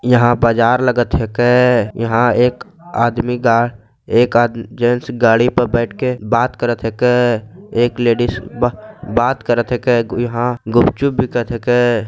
यहाँ बजार लगत हके यहाँ एक आदमी एक जेंट्स गाड़ी पे बैठ के बात करत हके एक लेडिस बा-बात करत हके यहाँ गुपचुप बिकत हके।